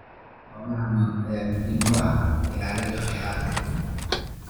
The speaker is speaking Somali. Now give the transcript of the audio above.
Xoolaha nool ayaa muhiim u ah ilaalinta kheyraadka.